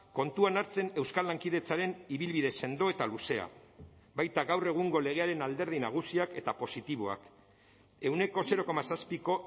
kontuan hartzen euskal lankidetzaren ibilbide sendo eta luzea baita gaur egungo legearen alderdi nagusiak eta positiboak ehuneko zero koma zazpiko